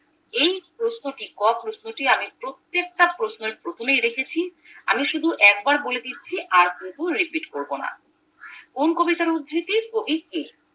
এই প্রশ্নটি ক প্রশ্নটি আমি প্রত্যেকটা প্রশ্নের প্রথমেই রেখেছি আমি শুধু একবার বলেদিচ্ছি আর কিন্তু repeat করবোনা কোন কবিতার উদ্বৃতি কবি কে